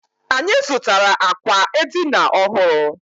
Anyị zụtara àkwà edina ọhụrụ.